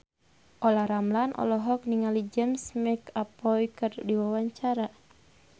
Olla Ramlan olohok ningali James McAvoy keur diwawancara